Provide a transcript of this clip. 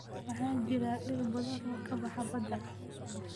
Waxaa jira dhir badan oo ka baxa badda.